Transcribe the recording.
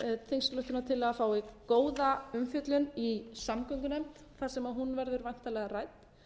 þingsályktunartillaga fái góða umfjöllun í samgöngunefnd þar sem hún verður væntanlega rædd